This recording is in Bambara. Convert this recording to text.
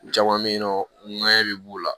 Caman bɛ yen nɔ ŋɛɲɛ bɛ b'u la